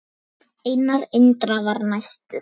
Einar Indra var næstur.